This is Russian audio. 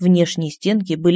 внешние стенки были